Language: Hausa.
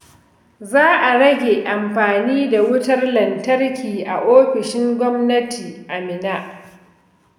Za a rage amfani da wutar lantarki a ofishin gwamnati a Minna.